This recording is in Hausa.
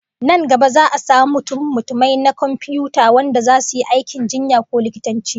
Nan gaba za'a samu mutummutumai na komfiyuta wanda zasu yi aikin jinya ko likitanci